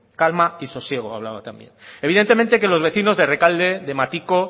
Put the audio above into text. calma y sosiego hablaba también evidentemente que los vecinos de errekalde de matiko